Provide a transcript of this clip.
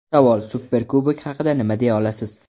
Savol: Superkubok haqida nima deya olasiz?